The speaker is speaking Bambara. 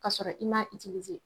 K'a sɔrɔ i m'a itilize